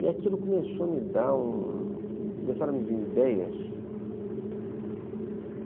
E aquilo começou a me dar um... começaram a me vir ideias.